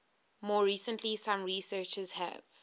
more recently some researchers have